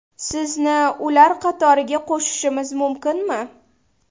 Sizni ular qatoriga qo‘shishimiz mumkinmi?